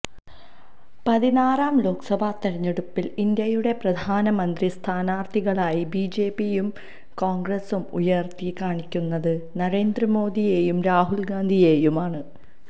പതിനാറാം ലോക്സഭാ തിരഞ്ഞെടുപ്പില് ഇന്ത്യയുടെ പ്രധാനമന്ത്രി സ്ഥാനാര്ഥികളായി ബി ജെ പിയും കോണ്ഗ്രസും ഉയര്ത്തിക്കാണിക്കുന്നത് നരേന്ദ്ര മോദിയെയും രാഹുല് ഗാന്ധിയെയുമാണ്